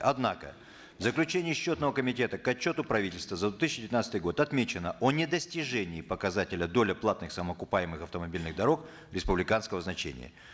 однако в заключении счетного комитета к отчету правительства за две тысячи девятнадцатый год отмечено о недостижении показателя доля платных самоокупаемых автомобильных дорог республиканского значения